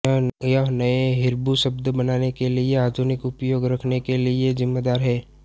यह नए हिब्रू शब्द बनाने के लिए आधुनिक उपयोग रखने के लिए जिम्मेदार है